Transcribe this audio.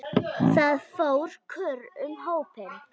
Það fór kurr um hópinn.